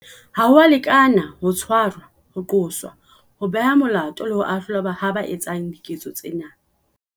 Ha ho a lekana ho tshwarwa, ho qoswa, ho behwa molato le ho ahlolwa ha ba etsang diketso tsena.